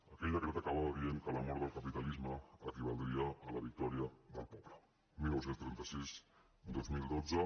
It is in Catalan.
aquell decret acabava dient que la mort del capitalisme equivaldria a la victòria del poble dinou trenta sis dos mil dotze